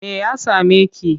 Me ya same ki?